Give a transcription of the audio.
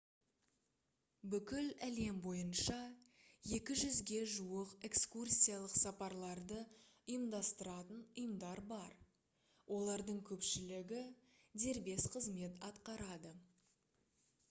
бүкіл әлем бойынша 200-ге жуық экскурсиялық сапарларды ұйымдастыратын ұйымдар бар олардың көпшілігі дербес қызмет атқарады